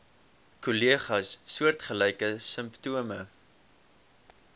kollegas soortgelyke simptome